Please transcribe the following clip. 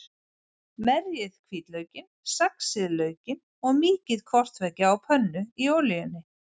Merjið hvítlaukinn, saxið laukinn og mýkið hvort tveggja á pönnu í olíunni.